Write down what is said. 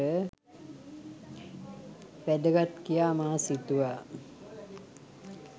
වැදගත් කියා මා සිතුවා.